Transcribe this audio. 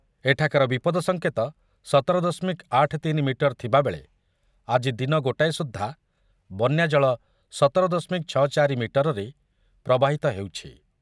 ଏଠାକାର ବିପଦ ସଂକେତ ସତର ଦଶମିକ ଆଠ ତିନି ମିଟର ଥିବାବେଳେ ଆଜି ଦିନ ଗୋଟାଏ ସୁଦ୍ଧା ବନ୍ୟାଜଳ ସତର ଦଶମିକ ଚଉଷଠି ମିଟରରେ ପ୍ରବାହିତ ହେଉଛି ।